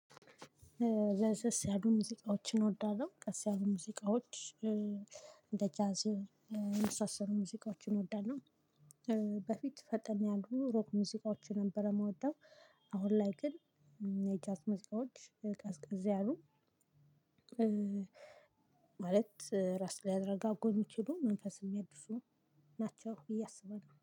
ለሰስ ያሉ ሙዚቃዎችን እንወዳለሁ ቀስ ያሉ ሙዚቃዎች እንደ ጃዝ የመሳሰሉ ሙዚቃዎችን እወዳለሁ። በፊት ፈጠን ያሉ ሮክ ሙዚቃዎች ነበር እምወደው። አሁን ላይ ግን የጃዝ ሙዚቃዎች ቀዝቅዝ ያሉ። ማለት ራስ ሊያረጋጉ እምችሉ መንፈስ እሚያድሱ ናቸው ብዬ አስባለሁ